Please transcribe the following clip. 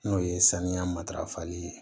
N'o ye saniya matarafali ye